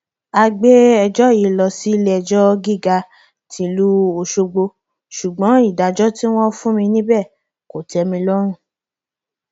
mílíọnù lọnà ẹgbẹrin làwọn yóò gba àìjẹ bẹẹ ọkọọkan làwọn yóò máa pa àwọn ẹkẹkọọ tó wà lákàtà àwọn yìí